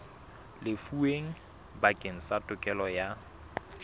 lefuweng bakeng sa tokelo ya